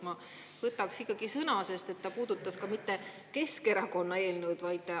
Ma võtaks ikkagi sõna, sest ta puudutas ka mitte Keskerakonna eelnõu.